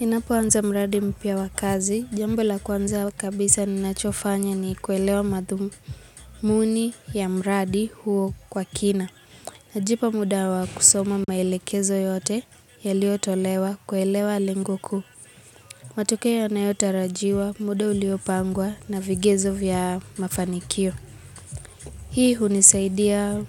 Ninapoanza mradi mpia wakazi, jambo la kwanza kabisa ninachofanya ni kuelewa madhumuni ya mradi huo kwa kina. Najipa mudawa kusoma maelekezo yote yaliotolewa kuelewa lengo ku. Matokeo yanayo tarajiwa, muda uliopangwa na vigezo vya mafanikio. Hii hunisaidia